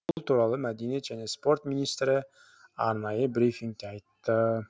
бұл туралы мәдениет және спорт министрі арнайы брифингте айтты